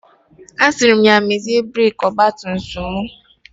Asịrị m ya mezie breki ọgba tum tum m.